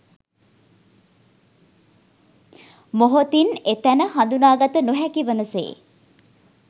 මොහොතින් එතැන හඳුනා ගත නොහැකි වන සේ